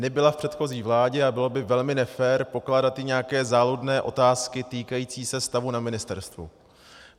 Nebyla v předchozí vládě a bylo by velmi nefér pokládat jí nějaké záludné otázky týkající se stavu na ministerstvu.